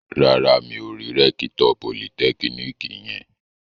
Rárá, mi ò rí rẹ́kítọ̀ politẹ́kíníkì yẹn